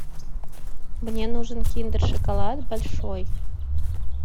мне нужен киндер шоколад большой